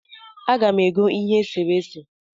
Aga m ego ihe eserese